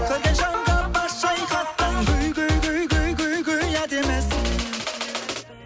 көрген жанға бас шайқатқан әдемісің